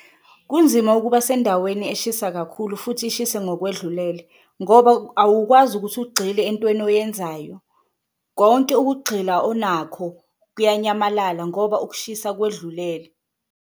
Kunzima ukuba sendaweni eshisa kakhulu futhi ishise ngokwedlulele ngoba awukwazi ukuthi ugxile entweni oyenzayo, konke ukugxila onakho kuyanyamalala ngoba ukushisa kwedlulele.